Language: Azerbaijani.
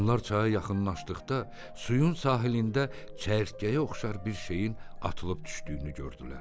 Onlar çaya yaxınlaşdıqda, suyun sahilində çərkəyə oxşar bir şeyin atılıb düşdüyünü gördülər.